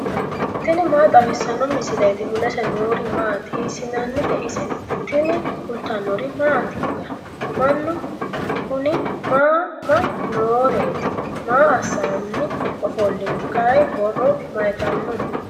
tini maa xawissanno misileeti ? mulese noori maati ? hiissinannite ise ? tini kultannori mattiya? Mannu kunni mama nooreetti? Maa assanni ofolinno? kayi borro mayiittano?